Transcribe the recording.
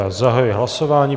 Já zahajuji hlasování.